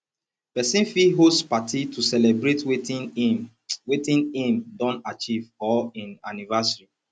persin fit host party to celebrate wetin im wetin im don achieve or im anniversary